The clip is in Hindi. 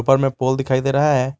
में पोल दिखाई दे रहा है।